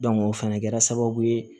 o fɛnɛ kɛra sababu ye